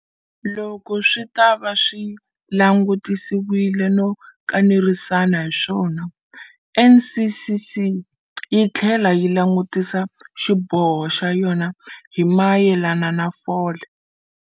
Loko swi ta va swi langutisisiwile no kanerisana hi swona, NCCC yi tlhele yi langutisa xiboho xa yona hi mayelana na fole.